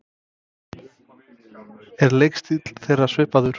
Er leikstíll þeirra svipaður?